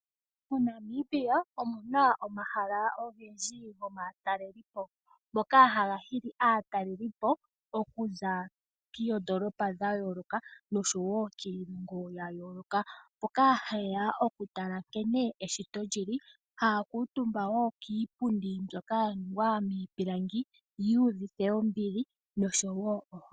Mo Namibia omuna omahala ogendji gomatalelepo ngoka haga hili aatalelipo okuza koondolopa dhayoloka noshowo kiilongo yayoloka, mboka haye ya okutala nkene eshito lyili haya kuutumba woo kiipundi mbyoka ya ningwa miipilangi yuuvite ombili noshowo ohole.